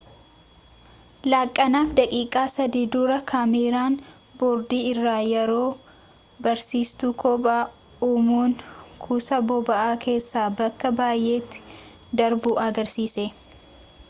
laaqanaaf daqiiqaa 3 dura kaameeraan boordi irra yeroo dabarsiitu kobba uumuun kuusaa boba'aa keessa bakka baayeetti darbu agarsiise